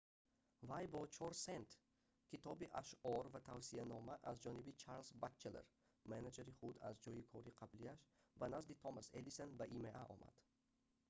вай бо 4 сент китоби ашъор ва тавсиянома аз ҷаноби чарлз батчелор менеҷери худ аз ҷойи кори қаблияш ба назди томас эдисон ба има омад